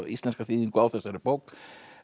íslenska þýðingu á þessari bók